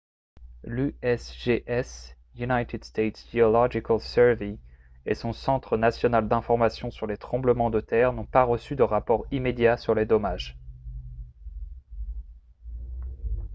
l’usgs united states geological survey et son centre national d’information sur les tremblements de terre n’ont pas reçu de rapports immédiats sur les dommages